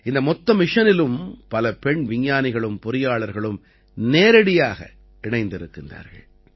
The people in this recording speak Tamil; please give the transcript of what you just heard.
இந்த மொத்த மிஷனிலும் பல பெண் விஞ்ஞானிகளும் பொறியாளர்களும் நேரடியாக இணைந்திருக்கிறார்கள்